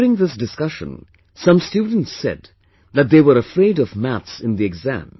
During this discussion some students said that they are afraid of maths in the exam